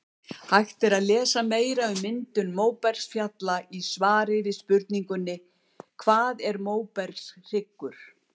Hægt er að lesa meira um myndun móbergsfjalla í svari við spurningunni Hvað er móbergshryggur?